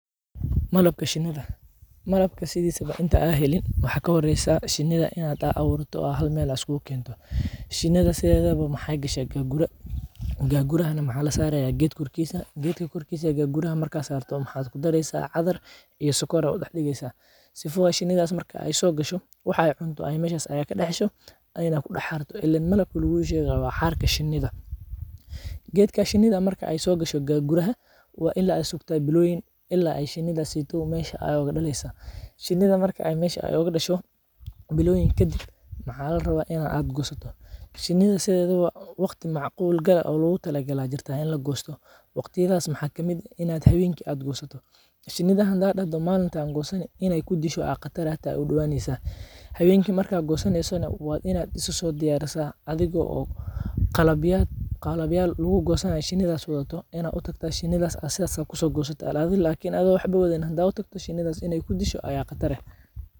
Malabka shiniida, malabka sithisawo inta helin waxaa kahoreysaa shinidaa in aa aburto oo hal meel iskugu kento, shinidaa sidethawo mexee gashaa gaggura, gaggurahaana waxaa la saraya geedka korkisaa, geedka korkisa marka sarto gagguraha maxaa ku dareysaa cadaar iyo sokor aya u dax digeysaa, sifa oo shinidas marki ee so gasho wax ee cunto ayey meshas ee kadax hesho, ee na ku dax xarto, ilen malabka lagu shegayo waa xarka shinida, geedka marke shiniida so gasho gagguraha, ila aad sugtaa biloyiin, ila ee shinidaseyto meesha oga daleyso, shinida marki oo mesha ee oga dasho, biloyiin kadiib maxaa la rawa In aad gosatiid, shinidaa sithedawo waqti lagosto aya jiraa oo macqul gal ah oo lagosto, waqtiyadaas maxaa kamiid ah in aad hawenki gosatiid, shinida hada dahdo malinki ayan gosani in ee ku disho aya qatar, hawenki markaad gosaneysana waa ina isa so diyarisaa, adhiga oo qalabyal lagu gosanay shinida wadato, in aad u tagtaa shinida sas aya ku so gosani kartaa, lakin atho waxba wadhanin hada u tagto shinidas in ee kudisho aya qatar eh.